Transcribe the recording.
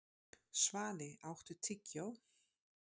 Svali, áttu tyggjó?